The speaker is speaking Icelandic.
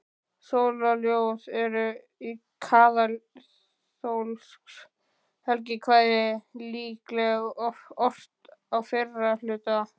Sólarljóð eru kaþólskt helgikvæði, líklega ort á fyrra hluta